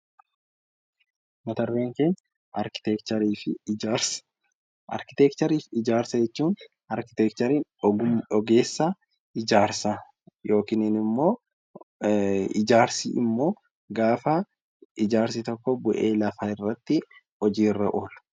Arkiteekchariin ogeessa ijaarsaa, ijaarsi immoo gaafa ijaarsi tokko bu'ee lafarratti hojiirra ooludha